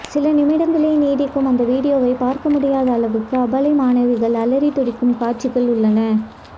சில நிமிடங்களே நீடிக்கும் அந்த வீடியோவைப் பார்க்க முடியாத அளவுக்கு அபலை மாணவிகள் அலறித் துடிக்கும் காட்சிகள் உள்ளன